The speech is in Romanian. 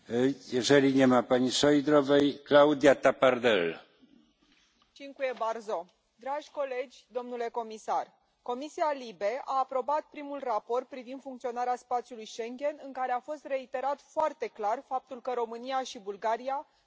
Domnule președinte, dragi colegi, domnule comisar, Comisia LIBE a aprobat primul raport privind funcționarea spațiului Schengen în care a fost reiterat foarte clar faptul că România și Bulgaria sunt pregătite pentru o intrare imediată în Schengen.